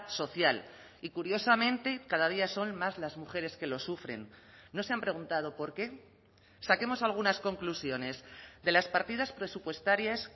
social y curiosamente cada día son más las mujeres que lo sufren no se han preguntado por qué saquemos algunas conclusiones de las partidas presupuestarias